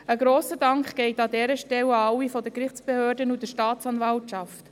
Ein grosser Dank geht an dieser Stelle an alle seitens der Gerichtsbehörden und der Staatsanwaltschaft.